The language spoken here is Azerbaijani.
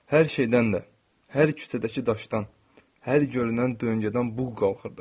Hər şeydən də, hər küçədəki daşdan, hər görünən dönqədən buğ qalxırdı.